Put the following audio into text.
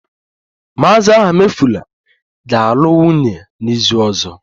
Mr. Ahamefula ga-alụ nwunye n'izu ọzọ